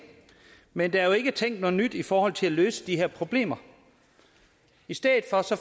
men der er jo ikke tænkt noget nyt i forhold til at løse de her problemer i stedet